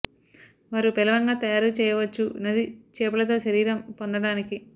వారు పేలవంగా తయారు చెయ్యవచ్చు నది చేపల తో శరీరం పొందడానికి